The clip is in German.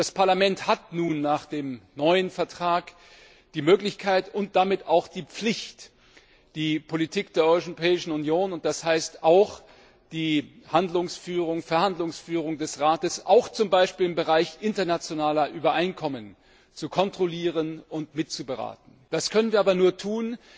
Das Parlament hat nun nach dem neuen Vertrag die Möglichkeit und damit auch die Pflicht, die Politik der Europäischen Union und das heißt auch die Verhandlungsführung des Rats, auch zum Beispiel im Bereich internationaler Übereinkommen zu kontrollieren und mitzuberaten. Das können wir aber nur tun,